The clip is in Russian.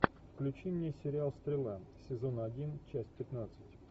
включи мне сериал стрела сезон один часть пятнадцать